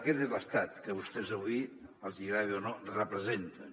aquest és l’estat que vostès avui els hi agradi o no representen